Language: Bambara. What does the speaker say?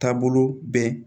Taabolo bɛn